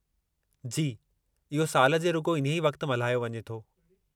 जी, इहो साल जे रुॻो इन्हीअ वक़्तु मल्हायो वञे थो।